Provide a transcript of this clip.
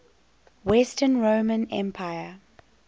western roman empire